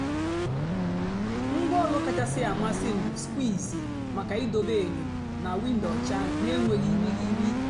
ngwá ólù kachásị́ àmasị́ m bụ́ skwìjì maka ìdòbé ényò na wìndó ọ́chà n'ènwèghị́ ìrìghirì.